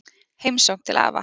Heimsókn til afa